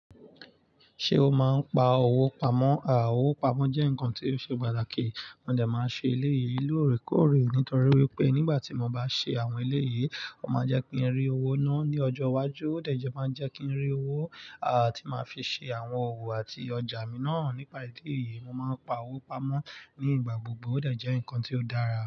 Ṣé o máa ń pa owó pamọ́? À, owó pamọ́ jẹ́ nǹkan tó ṣe pàtàkì. Mo dà máa ṣe eléyìí lórèkórè nítorí wípé nígbà tí mo bá ṣe àwọn eléyìí, ó máa jẹ́ kí n rí owó náà ní ọjọ́ iwájú. Ó dà jẹ máa jẹ́ kí n rí owó, àti máa fi ṣe àwọn òwò àti ọjà mi náà. Nípa ètè yìí, mo máa ń pa owó pamọ́ nígbà gbogbo. Ó dà jẹ́ ǹkan tí ó dára.